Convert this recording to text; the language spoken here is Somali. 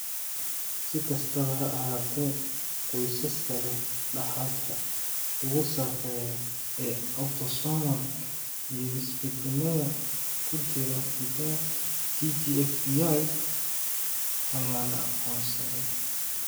Si kastaba ha ahaatee, qoysaska leh dhaxalka ugu sarreeya ee autosomal iyo isbeddellada ku jira hiddaha TGFBI ayaa la aqoonsaday.